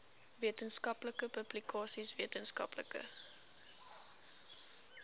wetenskaplike publikasies wetenskaplike